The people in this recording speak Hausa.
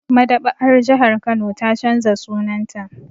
Maɗaba'ar jihar Kano ta canza sunanta